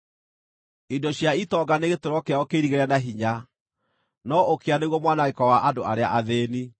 Indo cia itonga nĩ gĩtũũro kĩao kĩirigĩre na hinya, no ũkĩa nĩguo mwanangĩko wa andũ arĩa athĩĩni.